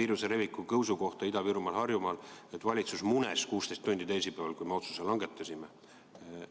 viiruse leviku tõusu kohta Ida-Virumaal ja Harjumaal, öeldes, et valitsus munes teisipäeval 16 tundi, kui me tegelikult langetasime otsuseid.